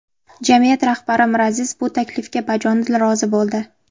Jamiyat rahbari Miraziz bu taklifga bajonidil rozi bo‘ldi.